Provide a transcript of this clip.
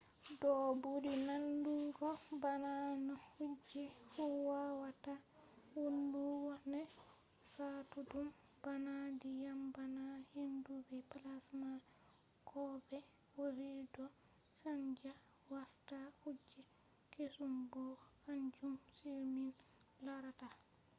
do buri nandugo bana no kuje fu wawata wonugo nai ha no wari satudum bana dyam bana hendu be plasma ko be o vi do chanja warta kuje kesum bo kanjum on min larata